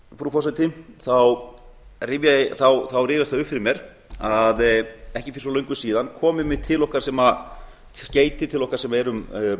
frú forseti rifjast það upp fyrir mér að ekki fyrir svo löngu síðan kom einmitt til okkar skeyti sem erum